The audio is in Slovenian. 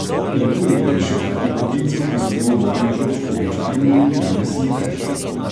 In koliko je še takih poklicev, ki so bili v mojem otroštvu običajni in jih danes ni več?